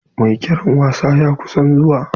Mai kera wasa ya kusan zuwa.